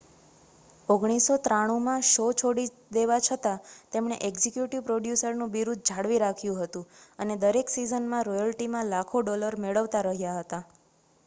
1993 માં શો છોડી દેવા છતાં તેમણે એક્ઝિક્યુટિવ પ્રોડ્યુસરનું બિરુદ જાળવી રાખ્યું હતું અને દરેક સિઝનમાં રોયલ્ટીમાં લાખો ડોલર મેળવતા રહ્યા હતા